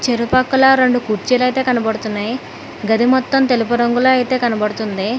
ఇరుపక్కల రొండు కుర్చీలైతే కనబడుతున్నాయి గది మొత్తం తెలుపు రంగులో అయితే కనబడుతుంది.